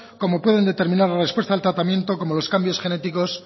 como pueden determinar la respuesta al tratamiento como los cambios genéticos